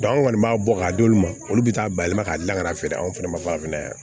an kɔni b'a bɔ k'a d'olu ma olu bɛ taa bayɛlɛma ka dilan ka na feere anw fɛnɛ ma ka mɛn yan